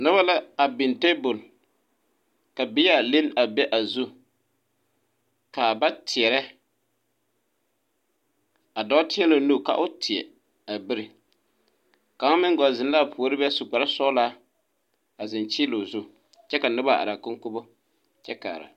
Noba la a biŋ table ka bear liŋne be a zu ka ba teɛrɛ a dɔɔ teɛ la o nu ka o teɛa biri kaŋ meŋ gɔlle zeŋ la a puori be su kparesɔglaa a zeŋ kyiili o zu kyɛ ka noba are a konkobo kyɛ kaara.